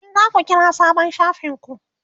me zaku kira sabon shafin ku?